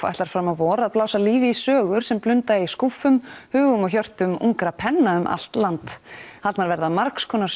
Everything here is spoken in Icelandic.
ætlar fram á vor að blása lífi í sögur sem blunda í skúffum hugum og hjörtum ungra penna um allt land haldnar verða margs konar